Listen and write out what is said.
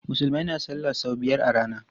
Musulmai na salla sau biyar a rana.